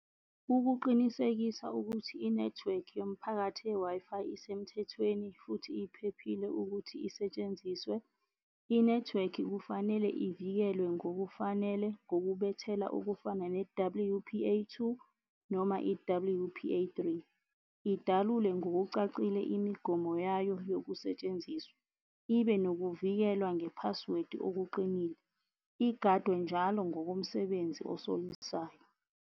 Ukuqinisekisa ukuthi i-network yomphakathi ye-Wi-Fi isemthethweni futhi iphephile ukuthi isetshenziswe, i-network kufanele ivikelwe ngokufanele ngokubethela okufana ne-W_P_A two noma i-W_P_A three. Idalule ngokucacile imigomo yayo yokusetshenziswa. Ibe nokuvikelwa nge-password okuqinile, igadwe njalo ngokomsebenzi osolisayo.